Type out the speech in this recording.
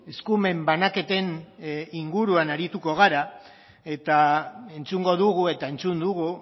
eskumen banaketen inguruan arituko gara eta entzungo dugu eta entzun dugu